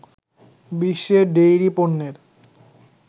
বিশ্বে ডেইরি পণ্যের